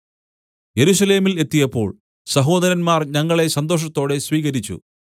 യെരൂശലേമിൽ എത്തിയപ്പോൾ സഹോദരന്മാർ ഞങ്ങളെ സന്തോഷത്തോടെ സ്വീകരിച്ചു